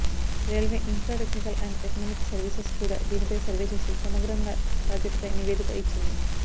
railway infra technical and economic services కూడా దీనిపై survey చేసి సమగ్రంగా సాధ్యతపై నివేదిక ఇచ్చింది